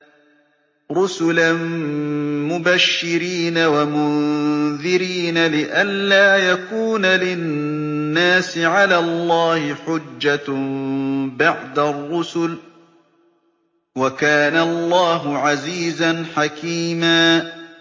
رُّسُلًا مُّبَشِّرِينَ وَمُنذِرِينَ لِئَلَّا يَكُونَ لِلنَّاسِ عَلَى اللَّهِ حُجَّةٌ بَعْدَ الرُّسُلِ ۚ وَكَانَ اللَّهُ عَزِيزًا حَكِيمًا